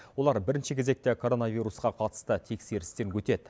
олар бірінші кезекте коронавирусқа қатысты тексерістен өтеді